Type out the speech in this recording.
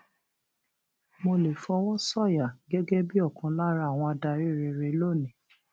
mo lè fọwọ sọyà gẹgẹ bíi ọkan lára àwọn adarí rere lónìí